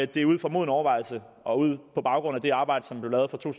det er ud fra moden overvejelse og på baggrund af det arbejde som blev lavet fra to